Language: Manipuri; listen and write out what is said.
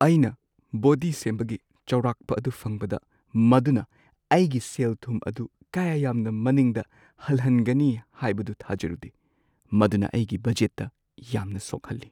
ꯑꯩꯅ ꯕꯣꯗꯤ ꯁꯦꯝꯕꯒꯤ ꯆꯥꯎꯔꯥꯛꯄ ꯑꯗꯨ ꯐꯪꯕꯗ, ꯃꯗꯨꯅ ꯑꯩꯒꯤ ꯁꯦꯜꯊꯨꯝ ꯑꯗꯨ ꯀꯌꯥ ꯌꯥꯝꯅ ꯃꯅꯤꯡꯗ ꯍꯜꯍꯟꯒꯅꯤ ꯍꯥꯏꯕꯗꯨ ꯊꯥꯖꯔꯨꯗꯦ ꯫ ꯃꯗꯨꯅ ꯑꯩꯒꯤ ꯕꯖꯦꯠꯇ ꯌꯥꯝꯅ ꯁꯣꯛꯍꯜꯂꯤ꯫